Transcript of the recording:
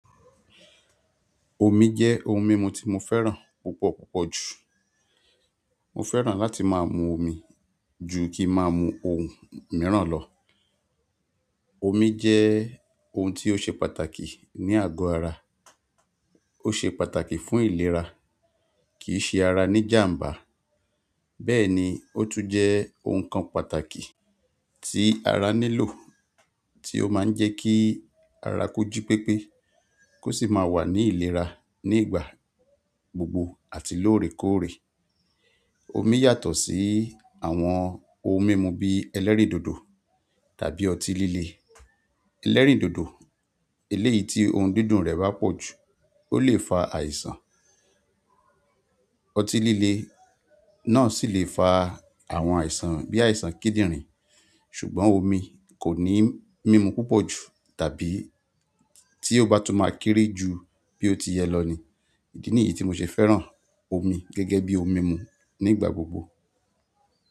Omi jẹ́ ohun mímu tí mo fẹ́ràn púpọ̀ púpọ̀ jù. Mo fẹ́ràn láti máa mu omi jù kí máa mu ohun mìíràn lọ. Omi jẹ́ ohun tí ó ṣe pàtàkì ní àgọ́ ara, ó ṣe pàtàkì fún ìlera, kìí ṣe ara ní jàmbá. Bẹ́ẹ̀ ni, ó tún jẹ́ ohun kan pàtàkì tí ara nílò tí ó máa ń jẹ́ kí ara koji pépé kó sì máa wà ní ìlera nígbà gbogbo àti lóòrèkóòrè. Omi yàtọ̀ sí àwọn ohun mímu bí ẹlẹ́rìndòdò tàbí ọtí líle. Ẹlẹ́rìndòdò eléyìí tí ohun dídùn rẹ̀ bá pọ̀ jù ó lè fa àìsàn. Ọtí líle náà sì lè fa àwọn àìsàn bí àìsàn kíndìnrín ṣùgbọ́n omi kò ní mímu púpọ̀ jù tàbí tí ó bá tún máa kéré jù bí ó ti yẹ lọ ni. Ídií niyìí tí mo ṣe fẹ́ràn omi gẹ́gẹ́ bí ohun mímu nígbà gbogbo.